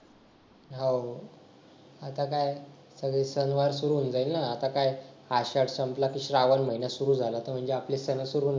हा हो आता काय शनिवार सुरू होऊन जाईल ना आता काय आषाढ संपला की श्रावण महिना सुरु झाला कि म्हणजे आपले सन सुरु